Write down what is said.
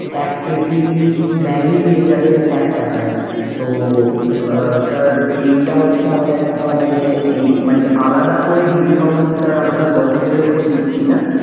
এক পেটি maggy পেয়ে যাবেন এক টাকায়। তো আহ sir এইটা হচ্ছে আমাদের একটা মানে এই মানে আলাদা করে discount sir আমরা grocery র উপর দিচ্ছি না।